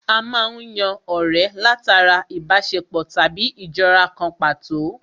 A má ń yan ọ̀rẹ́ látara ìbáṣepọ̀ tàbí ìjọra kan pàtó